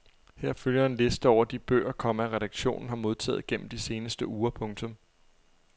Her følger en liste over de bøger, komma redaktionen har modtaget gennem de seneste uger. punktum